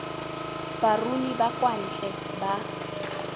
baruni ba kwa ntle ba